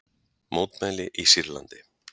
Mótmæli í Sýrlandi